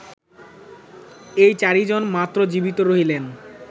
এই চারি জন মাত্র জীবিত রহিলেন